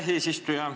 Aitäh, eesistuja!